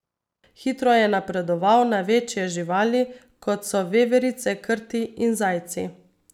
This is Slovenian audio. Hitro je napredoval na večje živali, kot so veverice, krti in zajci.